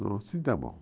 Não, assim está bom.